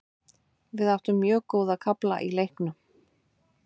Við áttum mjög góða kafla í leiknum.